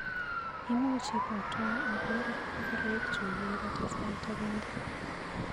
Imuch ibwatwa aker ngoraikchu yeibata sait agenge.